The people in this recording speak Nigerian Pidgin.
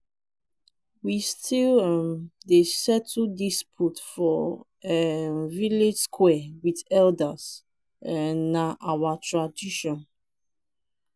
we still um dey settle disputes for um village square wit elders um na our tradition.